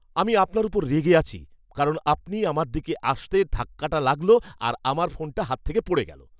আমি আপনার ওপর রেগে আছি কারণ আপনি আমার দিকে আসাতে ধাক্কাটা লাগল আর আমার ফোনটা হাত থেকে পড়ে গেলো।